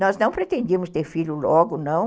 Nós não pretendíamos ter filhos logo, não.